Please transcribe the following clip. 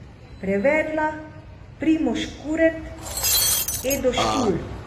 Prevedla Primož Kuret, Edo Škulj.